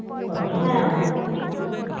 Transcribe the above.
কথা শুনতে হবে বুঝেছিস